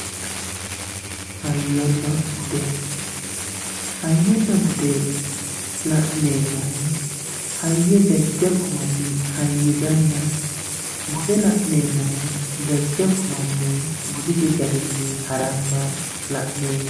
hayyonna bude hayyonna bude la'neemmohu hayyo jajjabbu manni hayyisanna, bude la'neemmohu jajjabbu manni budisi garinni hara'na la'neeemmo